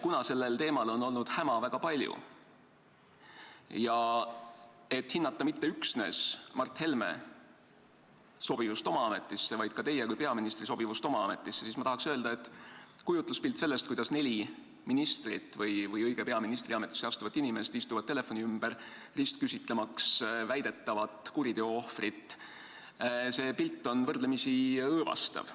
Kuna sellel teemal on olnud häma väga palju ja et hinnata mitte üksnes Mart Helme sobivust oma ametisse, vaid ka teie kui peaministri sobivust oma ametisse, ma tahaks öelda, et kujutluspilt sellest, kuidas neli ministrit või õige pea ministriametisse astuvat inimest istuvad telefoni ümber, et ristküsitleda väidetavat kuriteo ohvrit, on võrdlemisi õõvastav.